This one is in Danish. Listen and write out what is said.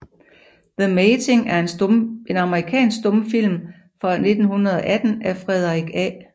The Mating er en amerikansk stumfilm fra 1918 af Frederick A